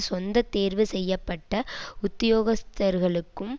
சொந்த தேர்வு செய்ய பட்ட உத்தியோகஸ்த்தர்களுக்கும்